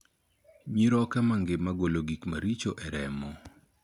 Nyiroke mangima golo gik maricho ei remo.